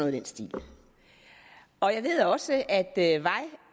i den stil og jeg ved også at